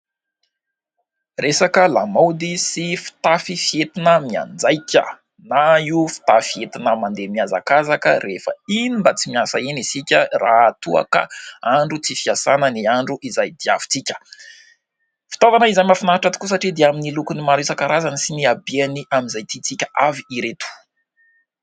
Resaka lamaody sy fitafy fentina mianjaika na io fitafy entina mandeha mihazakazaka rehefa iny mba tsy miasa eny isika raha toa ka andro tsy fiasana ny andro izay diavintsika. Fitaovana isan'ny mahafinaritra tokoa satria dia amin'ny lokony maro isan-karazany sy ny habeny amin'izay tiantsika avy ireto.